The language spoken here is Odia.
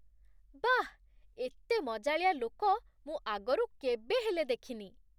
ବାଃ! ଏତେ ମଜାଳିଆ ଲୋକ ମୁଁ ଆଗରୁ କେବେ ହେଲେ ଦେଖିନି!